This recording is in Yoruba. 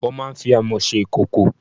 Wọ́n máa ń fi Amọ́ ṣe ìkòkò.